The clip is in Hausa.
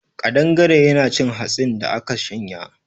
Ƙadangaren yana cin hatsin da aka shanya.